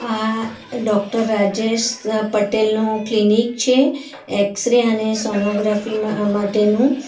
આ ડોક્ટર રાજેશ પટેલ નું ક્લિનિક છે એક્સરે અને સોનોગ્રાફી માં માટેનું.